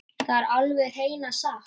Þetta er alveg hreina satt!